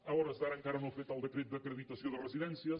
a hores d’ara encara no ha fet el decret d’acreditació de residències